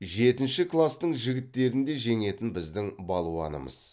жетінші кластың жігіттерін де жеңетін біздің балуанымыз